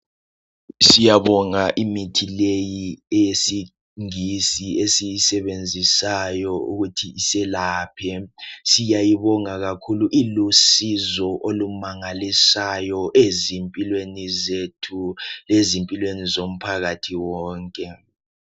Siyabonga imithi leyi yesingisi esiyisebenzisayo ukuthi iselaphe siyayibonga kakhulu ilusizo olumangalisayo ezimpilweni zethu lezimpilweni zomphakathi wonke.